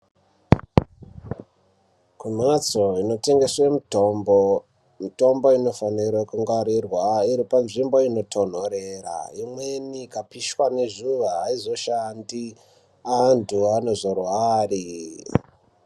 Kumbatso inotengeswe mitombo, mitombo inofanira kungwarirwa iri panzvimbo inotonhorera imweni ikapishwa nezuwa aizoshandi antu anozorware.